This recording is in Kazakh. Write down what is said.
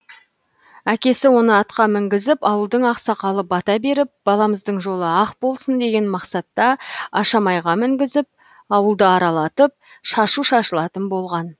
әкесі оны атқа мінгізіп ауылдың ақсақалы бата беріп баламыздың жолы ақ болсын деген мақсатта ашамайға мінгізіп ауылды аралатып шашу шашылатын болған